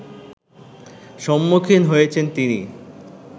সম্মুখীন হয়েছেন তিনি